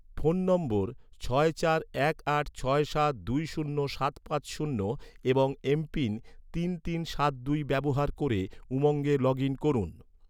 phone number ছয় চার এক আট ছয় সাত দুই শূন্য সাত পাঁচ শূন্য এবং এমপিন তিন তিন সাত দুই ব্যবহার ক’রে, উমঙ্গে লগ ইন করুন